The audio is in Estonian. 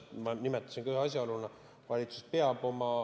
Ma nimetasin seda ühe asjaoluna.